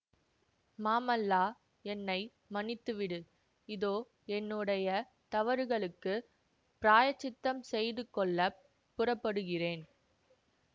மாமல்லா என்னை மன்னித்துவிடு இதோ என்னுடைய தவறுகளுக்குப் பிராயச்சித்தம் செய்து கொள்ள புறப்படுகிறேன்